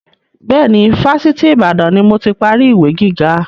Bẹ́ẹ̀ni, Fásitì Ìbàdàn ni moti parí ìwé gíga.